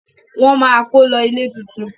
wón má kò lo ilé títún.